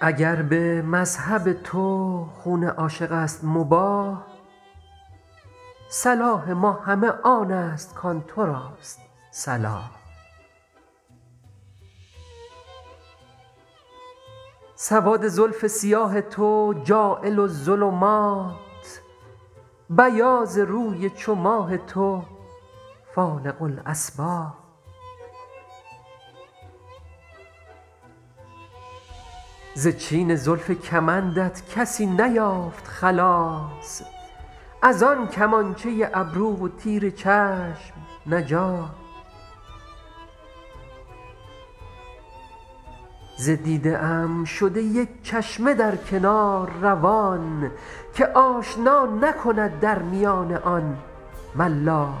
اگر به مذهب تو خون عاشق است مباح صلاح ما همه آن است کآن تو راست صلاح سواد زلف سیاه تو جاعل الظلمات بیاض روی چو ماه تو فالق الأصباح ز چین زلف کمندت کسی نیافت خلاص از آن کمانچه ابرو و تیر چشم نجاح ز دیده ام شده یک چشمه در کنار روان که آشنا نکند در میان آن ملاح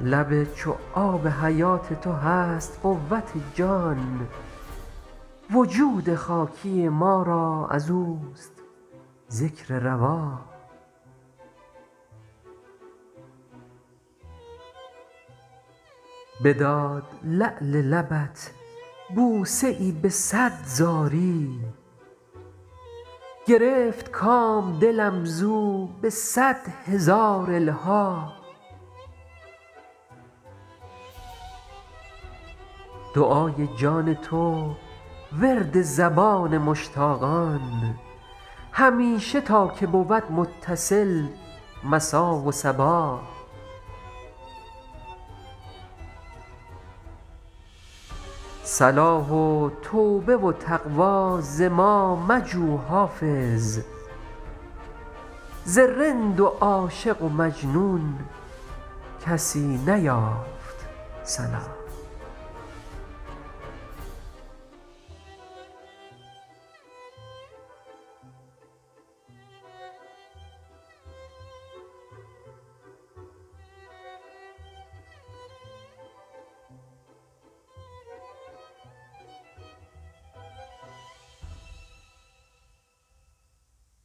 لب چو آب حیات تو هست قوت جان وجود خاکی ما را از اوست ذکر رواح بداد لعل لبت بوسه ای به صد زاری گرفت کام دلم زو به صد هزار الحاح دعای جان تو ورد زبان مشتاقان همیشه تا که بود متصل مسا و صباح صلاح و توبه و تقوی ز ما مجو حافظ ز رند و عاشق و مجنون کسی نیافت صلاح